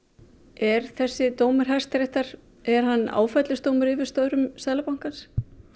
er þessi dómur Hæstaréttar er hann áfellisdómur yfir störfum Seðlabankans